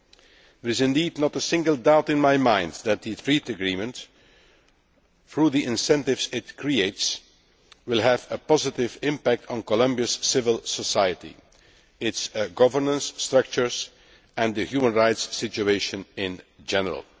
There is indeed not a single doubt in my mind that the trade agreement, through the incentives it creates, will have a positive effect on Colombia's civil society, its governance structures and the human rights situation in general.